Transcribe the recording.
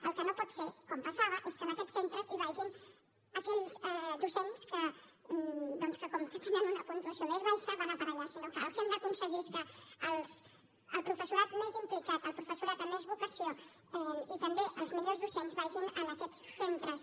el que no pot ser com passava és que en aquests centres hi vagin aquells docents que doncs com que tenen una puntuació més baixa van a parar allà el que hem d’aconseguir és que el professorat més implicat el professorat amb més vocació i també els millors docents vagin a aquests centres